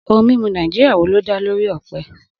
Ohun mímu Nàìjíríà wo ló dá lórí ọ̀pẹ?